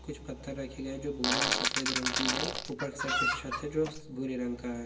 कुछ पत्थर रखे गए है जो भूरे और सफ़ेद रंग की है ऊपर के साइड पे छत है जो भूरे रंग का है।